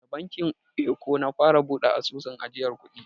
Da bankin eko na fara buɗe asusun ajiyan kuɗi.